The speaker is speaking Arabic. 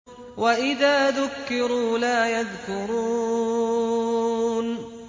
وَإِذَا ذُكِّرُوا لَا يَذْكُرُونَ